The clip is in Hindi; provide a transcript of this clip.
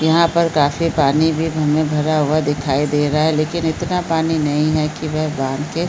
यहाँ पर काफी पानी भी बांध में भरा हुआ दिखाई दे रहा है लेकिन इतना पानी नहीं है की वे बांध के--